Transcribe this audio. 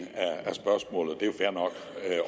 af